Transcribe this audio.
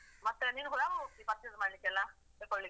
ಮತ್ತೆ ನೀನು ಕೂಡ ಯಾವಾಗ ಹೋಗ್ತಿ purchase ಮಾಡ್ಲಿಕ್ಕೆ ಅಲ್ಲ? ತೆಕ್ಕೋಳ್ಳಿಕ್ಕೆ?